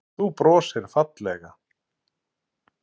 Þú brosir fallega.